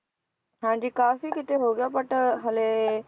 ਹਾਂਜੀ ਕਾਫ਼ੀ ਕਿਤੇ ਹੋ ਗਿਆ but ਹਾਲੇ